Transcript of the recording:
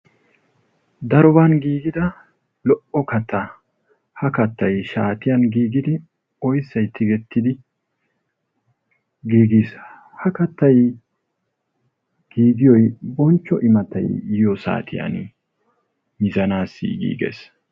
Daroban giigida lo''o kattaa, ha kattay shaatiyan giigidi shaatiyaa giigiis. ha kaattay giigiyoy bonchcho imattay yiyoo saatiyaan giigees